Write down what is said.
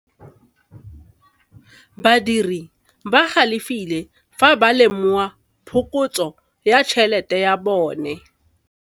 Badiri ba galefile fa ba lemoga phokotsô ya tšhelête ya bone.